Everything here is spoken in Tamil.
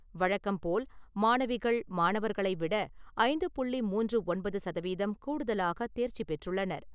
வழக்கம்போல் மாணவிகள், மாணவர்களை விட ஐந்து புள்ளி மூன்று ஒன்பது சதவீதம் கூடுதலாக தேர்ச்சி பெற்றுள்ளனர்.